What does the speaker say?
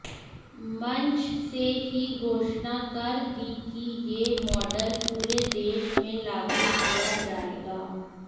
मंच से ही घोषणा कर दी कि यह मॉडल पूरे देश में लागू किया जाएगा